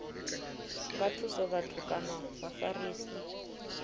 nga thusa vhathu kana vhafarisi